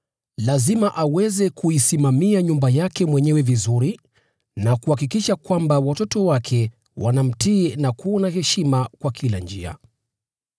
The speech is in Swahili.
Lazima aweze kuisimamia nyumba yake mwenyewe vizuri na kuhakikisha kwamba watoto wake wanamtii na kuwa na heshima kwa kila njia.